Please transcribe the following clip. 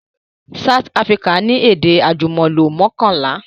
South Africa ni èdè àjùmọ̀lò mọ́kànlá